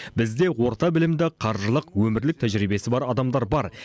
бізде орта білімді қаржылық өмірлік тәжірибесі бар адамдар бар